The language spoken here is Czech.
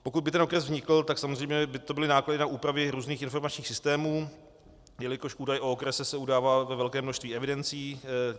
Pokud by ten okres vznikl, tak samozřejmě by to byly náklady na úpravy různých informačních systémů, jelikož údaj o okrese se udává ve velikém množství evidencí.